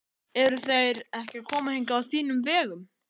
Eru þeir ekki að koma hingað á þínum vegum?